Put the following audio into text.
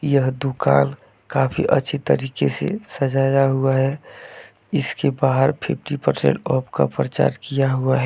यह दुकान काफी अच्छी तरीके से सजाया हुआ है इसके बाहर फिफ्टी पर्सेंट ऑफ का प्रचार किया हुआ है।